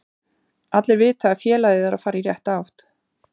Allir vita að félagið er að fara í rétta átt.